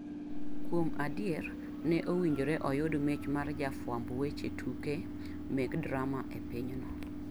Kuom adier, ne owinjore oyud mich mar jafwamb weche tuge mek drama e pinyno.